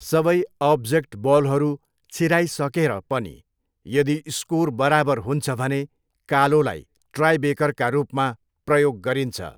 सबै अब्जेक्ट बलहरू छिराई सकेर पनि यदि स्कोर बराबर हुन्छ भने कालोलाई टाइब्रेकरका रूपमा प्रयोग गरिन्छ।